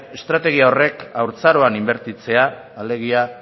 estrategia horrek haurtzaroan inbertitzea alegia